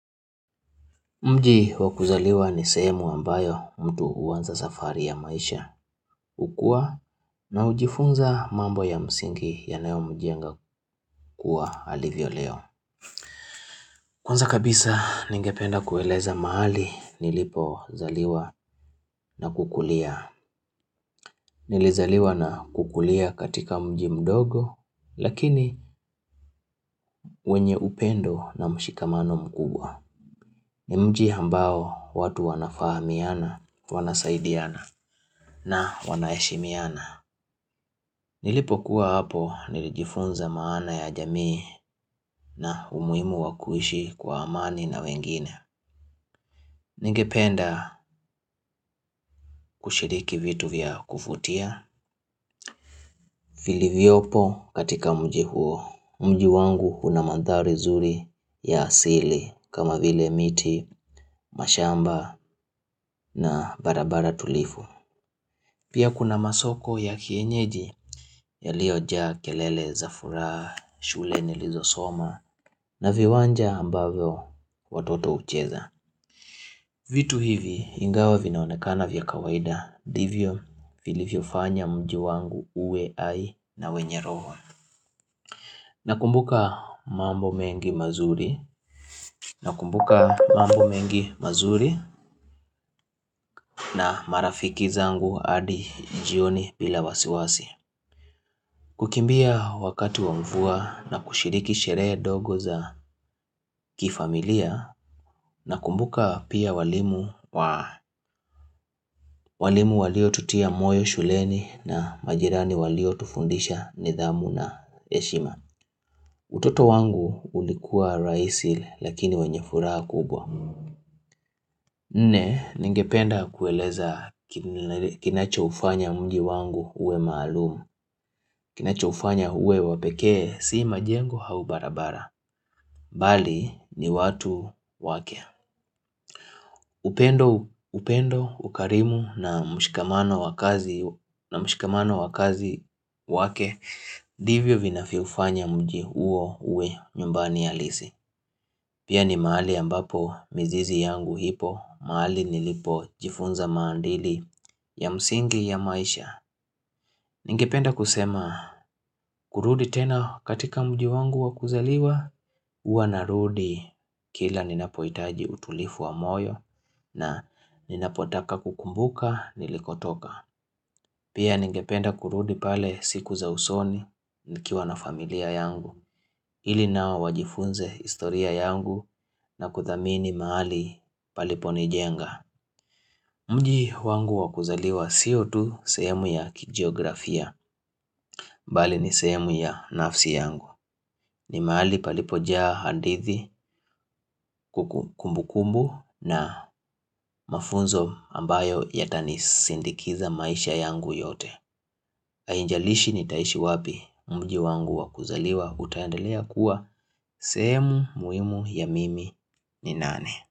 Mji wa kuzaliwa ni sehemu ambayo mtu hunza safari ya maisha, ukua na hujifunza mambo ya msingi yanayo mjenga kuwa alivyo lewa. Kwanza kabisa ningependa kueleza mahali nilipo zaliwa na kukulia. Nilizaliwa na kukulia katika mji mdogo, lakini wenye upendo na mshikamano mkubwa. Ni mji hambao watu wanafahamiana, wanasaidiana na wanaeshimiana. Nilipo kuwa hapo, nilijifunza maana ya jamii na umuhimu wakuishi kwa amani na wengine. Ningependa kushiriki vitu vya kuvutia. Vili vyopo katika mji huo. Mji wangu huna mandhari zuri ya asili kama vile miti, mashamba na barabara tulivu. Pia kuna masoko ya kienyeji yalio jaabkelele, za furaha, shule nilizo soma na viwanja ambavyo watoto hucheza. Vitu hivi ingawa vinaonekana vya kawaida ndivyo vilivyo fanya mji wangu uwe ai na wenye roho. Nakumbuka mambo mengi mazuri, nakumbuka mambo mengi mazuri na marafiki zangu adi jioni bila wasiwasi. Kukimbia wakati wa mvua na kushiriki sherehe dogo za kifamilia na kumbuka pia walimu wa walimu walio tutia moyo shuleni na majirani walio tufundisha nidhamu na eshima. Utoto wangu ulikua rahisi lakini wenye furaha kubwa. Ne, ningependa kueleza kinacho hufanya mji wangu uwe maalum Kinacho ufanya uwe wapekee, sii majengo hau barabara Bali, ni watu wake upendo, upendo, ukarimu na mshikamano wa kazi na mshakamano wa kazi wake Divyo vinavyo fanya mji uwe nyumbani halisi Pia ni mahali ambapo mizizi yangu ipo, mahali nilipo jifunza maandili ya msingi ya maisha Ningependa kusema kurudi tena katika mji wangu wa kuzaliwa Uwa narudi kila ninapohitaji utulifu wa moyo na ninapotaka kukumbuka nilikotoka Pia ningependa kurudi pale siku za usoni nikiwa na familia yangu ili nao wajifunze historia yangu na kuthamini mahali palipo nijenga Mji wangu wa kuzaliwa sio tu sehemu ya kijiografia, mbali ni sehemu ya nafsi yangu. Ni mahali palipo jaa hadithi ku kumbu kumbu na mafunzo ambayo yatani sindikiza maisha yangu yote. Hainjalishi nitaishi wapi mji wangu wakuzaliwa utaendelea kuwa sehemu muhimu ya mimi ni nane.